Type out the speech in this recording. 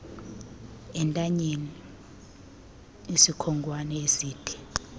entanyeni isikhonkwane eside